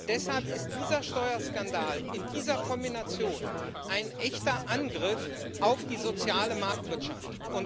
Deshalb ist dieser Steuerskandal in dieser Kombination ein echter Angriff auf die soziale Marktwirtschaft.